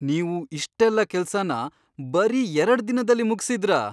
ನೀವು ಇಷ್ಟೆಲ್ಲ ಕೆಲ್ಸನ ಬರೀ ಎರಡ್ದಿನದಲ್ಲಿ ಮುಗ್ಸಿದ್ರಾ?